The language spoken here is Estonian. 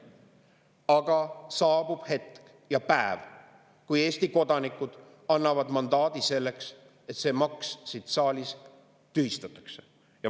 Aga saabub hetk ja päev, kui Eesti kodanikud annavad mandaadi selleks, et see maks siin saalis tühistataks.